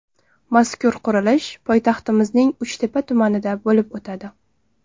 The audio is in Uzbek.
Mazkur qurilish poytaxtimizning Uchtepa tumanida bo‘lib o‘tadi.